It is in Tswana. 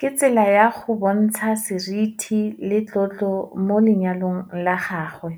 Ke tsela ya go bontsha seriti le tlotlo mo lenyalong la gagwe.